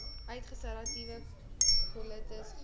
ulseratiewe kolitis galblaas